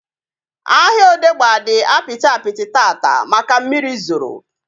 Ahịa Odegba dị apịtị apịtị taata maka mmiri zoro